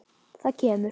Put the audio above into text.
Það kemur.